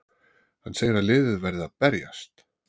Hann segir að liðið verði að berjast!